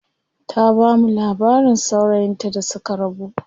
Ta bamu labarin saurayin ta da suka rabu.